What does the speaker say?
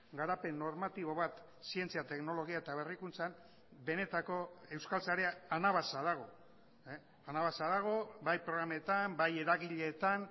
garapen normatibo bat zientzia teknologia eta berrikuntzan benetako euskal sarea anabasa dago anabasa dago bai programetan bai eragileetan